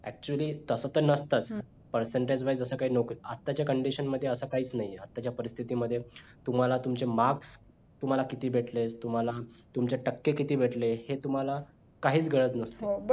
actually तस ते नसतंच percentage wise जसं काय नोकरी आताच्या condition मध्ये अस कायच नाहीच आताच्या परिस्थिती मध्ये तुम्हाला तुमचे marks तुम्हाला किती भेटले तुम्हाला तुमचे टक्के किती भेटले हे तुम्हाला काहीच कळत नसत